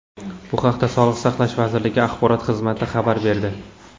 Bu haqda Sog‘liqni saqlash vazirligi axborot xizmati xabar berdi .